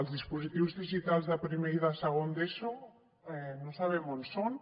els dispositius digitals de primer i de segon d’eso no sabem on són